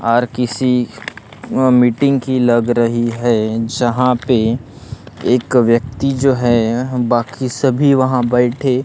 are किसी meeting की लग रही है जहा पे एक व्यक्ति जो है बाकी सभी वहा बैठे--